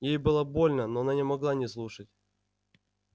ей было больно но она не могла не слушать